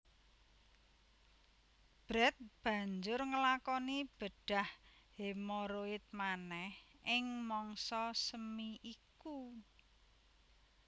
Brett banjur nglakoni bedhah hemoroid manèh ing mangsa semi iku